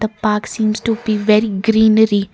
park seems to be very greenery.